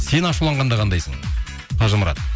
сен ашуланғанда қандайсың қажымұрат